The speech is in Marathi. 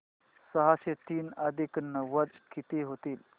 सहाशे तीन अधिक नव्वद किती होतील